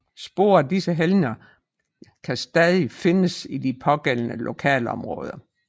Spor af disse helgener kan stadig findes i de pågældende lokalområder